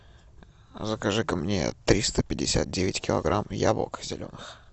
закажи ка мне триста пятьдесят девять килограмм яблок зеленых